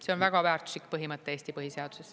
See on väga väärtuslik põhimõte Eesti põhiseaduses.